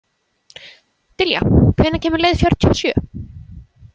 Dilja, hvenær kemur leið fjörutíu og sjö?